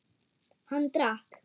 Hann drakk.